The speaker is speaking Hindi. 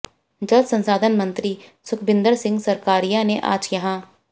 जल संसाधन मंत्री सुखबिन्दर सिंह सरकारिया ने आज यहां